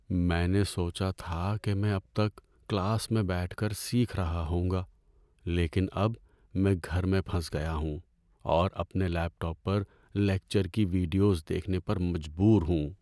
میں نے سوچا تھا کہ میں اب تک کلاس میں بیٹھ کر سیکھ رہا ہوں گا، لیکن اب میں گھر میں پھنس گیا ہوں اور اپنے لیپ ٹاپ پر لیکچر کی ویڈیوز دیکھنے پر مجبور ہوں۔